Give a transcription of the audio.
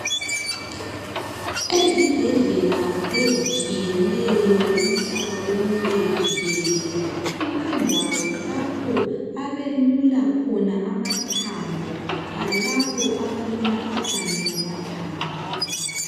Ezibhedlela ezitshiyeneyo umhlaba wonke jikelele kulendawo lapho abelula khona amathambo alabo abalemkhuhlane yamathambo.